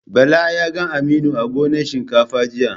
Bala ya ga Aminu a gonan shinkafa jiya.